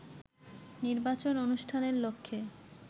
নির্বাচন অনুষ্ঠানের লক্ষ্যে